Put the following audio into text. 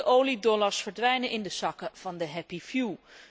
De oliedollars verdwijnen in de zakken van de happy few